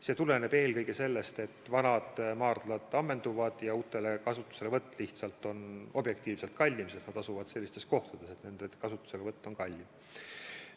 See tuleneb eelkõige sellest, et vanad maardlad ammenduvad ja uute kasutuselevõtt on lihtsalt objektiivselt kallim, sest nad asuvad sellistes kohtades, et see on kallim.